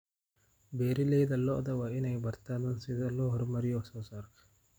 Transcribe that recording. Beeralayda lo'da waa inay bartaan sida loo horumariyo wax soo saarka.